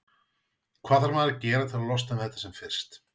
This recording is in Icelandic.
Hvað þarf maður að gera til að losna við þetta sem fyrst?